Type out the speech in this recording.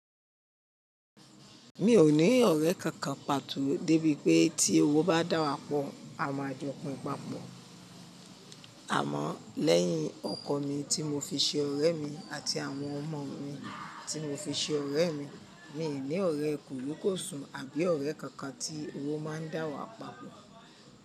Mi ò ní ọ̀rẹ́ kankan pàtó débi pé tí owo bá dàwàpò, à maa jọpín papọ̀. Àmọ́ lẹ́yìn ọkọ mi tí mo fi ṣe ọ̀rẹ́ mi àti àwọn ọmọ mi tí mo fi ṣe ọ̀rẹ́ mi, mi ní ọ̀rẹ́ korikosùn àbí ọ̀rẹ́ kankan tí owo má ń dàwà papọ̀.